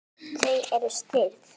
Þau eru stirð.